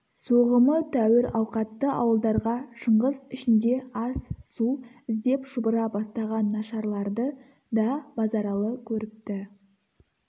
соғымы тәуір ауқатты ауылдарға шыңғыс ішінде ас-су іздеп шұбыра бастаған нашарларды да базаралы көріпті